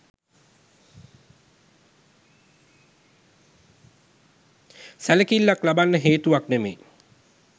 සැලකිල්ලක් ලබන්න හේතුවක් නෙමෙයි.